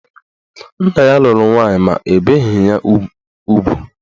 Nna ya lụrụ nwaanyị ma o beghi ya ugwu.